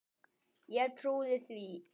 Ég trúði því.